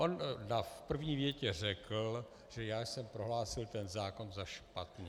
On v první větě řekl, že já jsem prohlásil ten zákon za špatný.